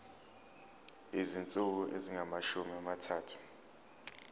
izinsuku ezingamashumi amathathu